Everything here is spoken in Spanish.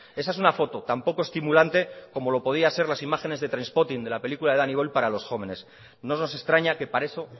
esa es una foto tan poco estimulante como lo podía ser las imágenes de trainspotting de la película de danny boyle para los jóvenes no nos extraña que para eso